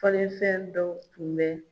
Falefɛn dɔ tun bɛ